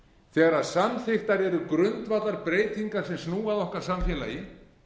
þegar samþykktar eru grundvallarbreytingar sem snúa að okkar samfélagi